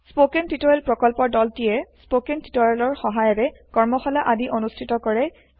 spoken tutorial প্ৰকল্পৰ দলটিয়ে spoken টিওটৰিয়েলৰ সহায়েৰে কৰ্মশালা আদি অনুষ্ঠিত কৰে